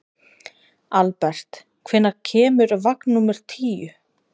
Albert, hvenær kemur vagn númer tíu?